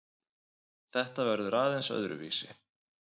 Þetta verður aðeins öðruvísi